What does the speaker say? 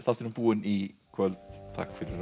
búinn í kvöld takk fyrir að horfa